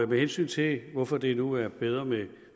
med hensyn til hvorfor det nu er bedre med